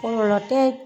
Kɔlɔlɔ tɛ